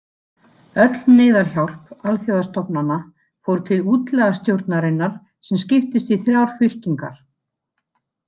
Öll neyðarhjálp alþjóðastofnana fór til útlagastjórnarinnar sem skiptist í þrjár fylkingar.